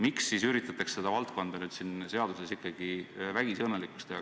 Miks siis üritatakse seda valdkonda nüüd siin seaduses vägisi õnnelikuks teha?